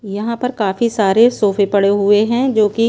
यहाँ पर काफी सारे सोफे पड़े हुए हैं जो कि--